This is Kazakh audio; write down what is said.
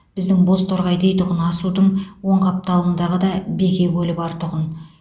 біздің бозторғай дейтұғын асудың оң қапталындағы да беке көлі бар тұғын